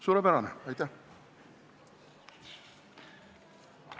Suurepärane, aitäh!